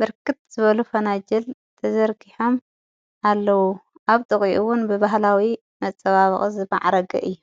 ብርክት ዘበሉ ፈና ጅል ተዘርጊሖም ኣለዉ ኣብ ጥቕኡዉን ብበህላዊ መጸባብቒ ዝመዕረግ እዩ::